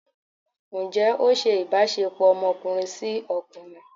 njẹ o ṣe ìbáṣepọ ọmọkunrin si okunrín?